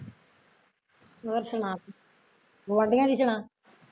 ਹੋਰ ਸੁਣਾ ਫੇਰ ਗੁਆਡੀਆ ਦੀ ਸੁਣਾ